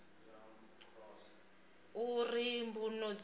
uri mbuno dzoṱhe dze dza